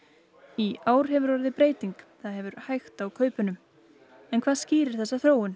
í ár hefur orðið breyting það hefur hægt á kaupunum en hvað skýrir þessa þróun